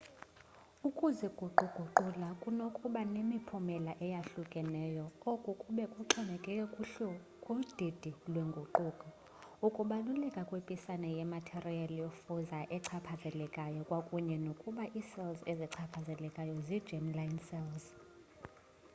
ukuziguquguqula kunokuba nemiphumela eyohlukahlukeneyo oku kube kuxhomekeke kudidi lwenguquko ukubaluleka kwepisana yematerial yofuzo echaphazelekayo kwakunye nokuba icells ezichaphazelekileyo zi germ-line cells